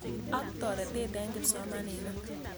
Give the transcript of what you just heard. Ak toretet eng' kipsomaninik.